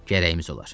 Gərəyimiz olar.